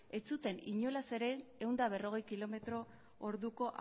ez zuten inolaz ere ehun eta berrogei kilometro orduko